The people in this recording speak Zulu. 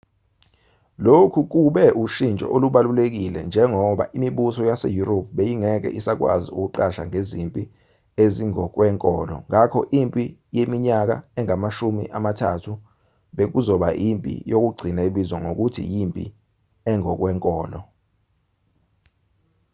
lokhu kube ushintsho olubalulekile njengoba imibuso yaseyurophi beyingeke isakwazi ukuqasha ngezimpi ezingokwenkolo ngakho impi yeminyaka engamashumi amathathu bekuzoba yimpi yokugcina ebizwa ngokuthi yimpi engokwenkolo